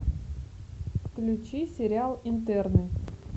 включи сериал интерны